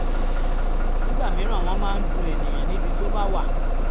nígbà mìíràn wọ́n máa ń dun èèyàn níbi tó bá wà